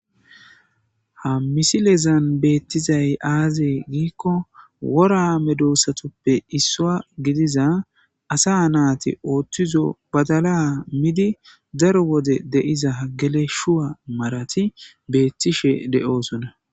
Ha misilezan beettizay aaze giikko wora medoosatuppe issuwa gidiza asaas naati oothizo badala midi daro de7iza geleshuwa marati beettishe de7oosona.